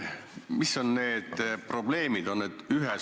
Mis on need probleemid?